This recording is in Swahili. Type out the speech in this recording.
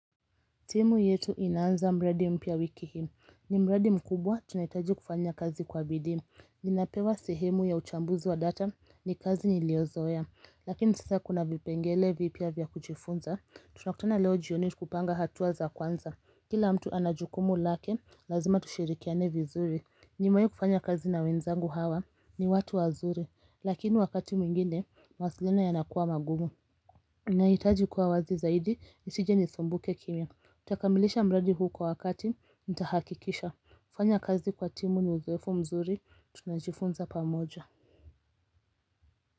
Timu yetu inaanza mradi mpia wiki hii. Ni mradi mkubwa tunahitaji kufanya kazi kwa bidii. Ninapewa sehemu ya uchambuzi wa data, ni kazi niliyozoea. Lakini sasa kuna vipengele vipya vya kujifunza. Tunakutana leo jioni kupanga hatua za kwanza. Kila mtu ana jukumu lake, lazima tushirikiane vizuri. Nimewai kufanya kazi na wenzangu hawa, ni watu wazuri. Lakini wakati mwingine, mawasiliano yanakuwa magumu. Nahitaji kuwa wazi zaidi, nisije nisumbuke kimya. Nitakamilisha mradi huu kwa wakati, nitahakikisha. Fanya kazi kwa timu na uzoefu mzuri, tunajifunza pamoja.